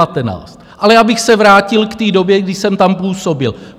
Ale abych se vrátil k té době, kdy jsem tam působil.